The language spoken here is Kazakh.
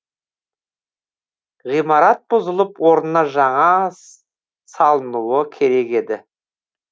ғимарат бұзылып орнына жаңас салынуы керек еді